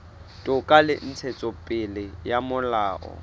toka le ntshetsopele ya molao